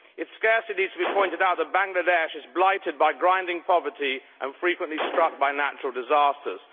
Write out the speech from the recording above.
It scarcely needs to be pointed out that Bangladesh is blighted by grinding poverty and frequently struck by natural disasters.